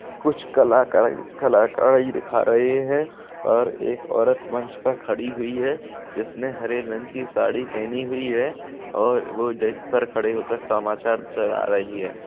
कुछ कलाकार कलाकारी दिखा रहे है और एक औरत मंच पर खड़ी हुई है जिसने हरे रंग की साड़ी पहनी हुई है और वो डेस्क पर खड़े होकर समाचार चला रही है।